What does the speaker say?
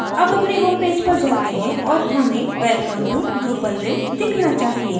अब अपने homepage पर जाते हैं और हमें welcome to drupalville दिखना चाहिए